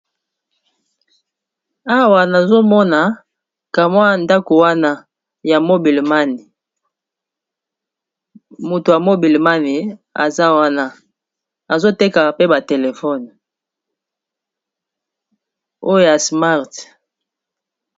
awa nazomona kamway ndako wana ya mobilemani moto ya mobilemani aza wana azoteka pe batelefone oyo ya smart